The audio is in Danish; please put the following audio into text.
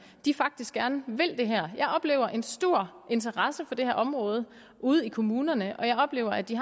faktisk gerne vil det her jeg oplever en stor interesse for det her område ude i kommunerne og jeg oplever at de